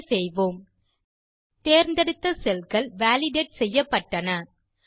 okay செய்வோம் தேர்ந்தெடுத்த செல் கள் வாலிடேட் செய்யப்பட்டன